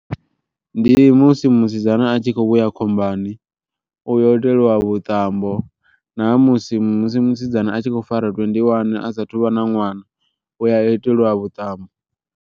Ndi musi musidzana a tshi kho vhuya khombani, u yo itelwa vhuṱambo na musi musi musidzana a tshi khou fara twenty-one a sathu vha na ṅwana u a itelwa vhuṱambo.